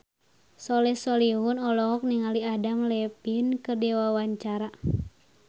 Soleh Solihun olohok ningali Adam Levine keur diwawancara